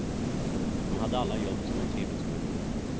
De hade alla jobb som de trivdes med.